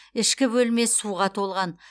ішкі бөлме суға толған